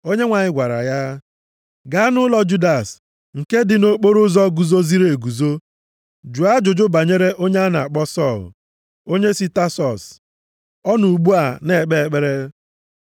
Onyenwe anyị gwara ya, “Gaa nʼụlọ Judas nke dị nʼokporoụzọ Guzoziri Eguzo, jụọ ajụjụ banyere onye a na-akpọ Sọl, onye si Tasọs, ọ nọ ugbu a na-ekpe ekpere.